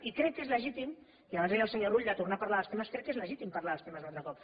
i crec que és legítim i abans ho deia al senyor rull de tornar a parlar dels temes crec que és legítim parlar dels temes un altre cop